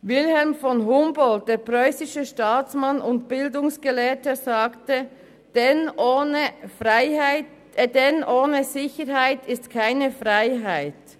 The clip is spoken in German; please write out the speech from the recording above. Wilhelm von Humboldt, der preussische Staatsmann und Bildungsgelehrte, sagte: «Denn ohne Sicherheit ist keine Freiheit.